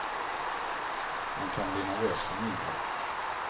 Man kan bli nervös för mindre.